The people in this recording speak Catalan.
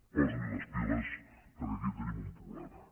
posi li les piles perquè aquí tenim un problema